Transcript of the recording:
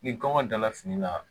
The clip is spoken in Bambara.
Ni kɔngɔ dala fini la